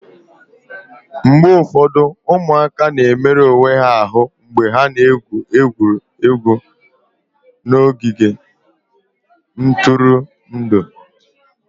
mgbe ụfọdụ ụmụaka na-emerụ onwe ha ahụ mgbe ha na-egwuri egwu n'ogige ntụrụndụ